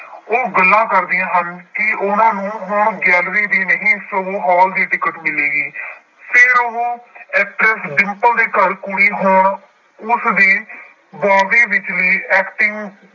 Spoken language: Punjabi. ਉਹ ਗੱਲਾਂ ਕਰਦੀਆਂ ਹਨ ਕਿ ਉਹਨਾਂ ਨੂੰ ਹੁਣ gallery ਦੀ ਨਹੀਂ ਸਗੋਂ ਹਾਲ ਦੀ ਟਿੱਕਟ ਮਿਲੇਗੀ ਫਿਰ ਉਹ actress ਡਿੰਪਲ ਦੇ ਘਰ ਕੁੜੀ ਹੋਣ ਉਸਦੀ ਬੋਬੀ ਵਿਚਲੀ acting